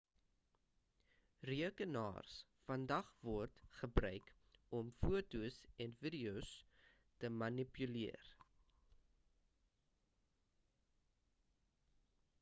rekenaars vandag word gebruik om fotos en videos te manipuleer